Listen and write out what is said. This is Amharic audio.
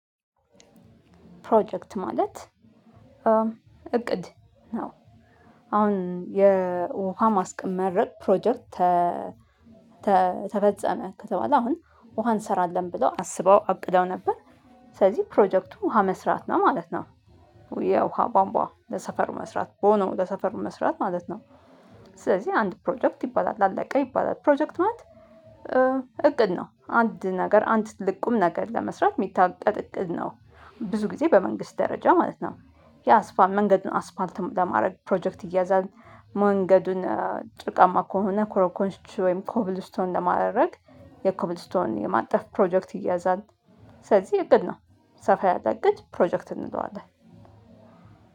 ፕሮጀክት ማለት እቅድ አሁን የውሃ ማስመረቅ ፕሮጀክት ተፈጸመ ከተባለ አሁን ውሃ እንሰራለን ብለው አስበው አቅደው ነበር ስለዚህ ፕሮጀክቱ ውሃ መስራት ነው ማለት ነው። ወይ የውሃ ቧምቧ ለሰፈር መስራት ቦኖ ለሰፈር መስራት ማለት ነው። ስለዚህ አንድ ፕሮጀክት ይባላል አለቀ ይባላል። ፕሮጀክት ማለት እቅድ ነው አንድ ነገር አንድ ትልቅ ቁም ነገር ለመስራት የሚታቀድ እቅድ ነው። ብዙ ጊዜ በመንግስት ደረጃ ማለት ነው። የአስፋም መንገዱን አስፋልት ለማድረግ ፕሮጀክት ይያዛል። መንገዱን ጭቃማ ከሆነ ኮረኮንች ወይም ኮብልስቶን ለማድረግ የኮብልስቶን የማንጠፍ ፕሮጀክት ይያዛል። ስለዚህ እቅድ ነው። ሰፋ ያለ እቅድ ፕሮጀክት እንለዋለን።